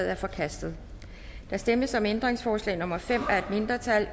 er forkastet der stemmes om ændringsforslag nummer fem af et mindretal